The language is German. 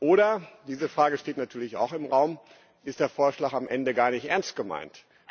Oder, diese Frage steht natürlich auch im Raum, ist der Vorschlag am Ende gar nicht ernst gemeint?